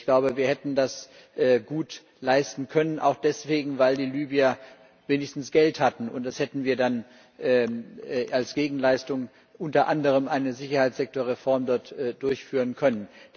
Ich glaube, wir hätten das gut leisten können, auch deswegen, weil die Libyer wenigstens Geld hatten, und da hätten wir dann als Gegenleistung unter anderem eine Sicherheitssektorreform durchführen können.